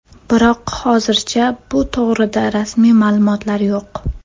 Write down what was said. Biroq hozircha bu to‘g‘rida rasmiy ma’lumotlar yo‘q.